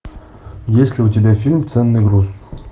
есть ли у тебя фильм ценный груз